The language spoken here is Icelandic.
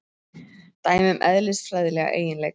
Dæmi um eðlisfræðilega eiginleika.